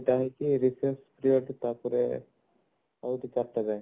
ତ ହଉଛି Raise ଦିଆ ହଉଛି ତାପରେ ହଉଛି ଚାରିଟା ଯାଏ